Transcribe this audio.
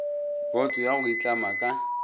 boto ya go itlama ka